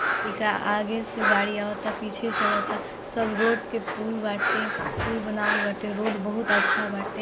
केकरा आगे से गाड़ियां अबतरा पीछे चलता सब रोड के पूल बाटे पूल बनाबल बाटे बहुत रोड बहुत अच्छा बाटे।